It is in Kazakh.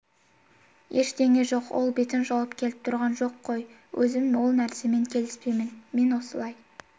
ештеме жоқ ол бетін жауып келіп тұрған жоқ қой өзім ол нәрсемен келіспеймін мен осылай